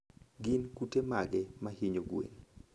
Gin kute mage ma hinyo gwen?